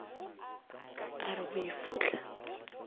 a re go e fohla